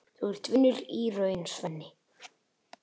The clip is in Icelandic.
Þú ert vinur í raun, Svenni.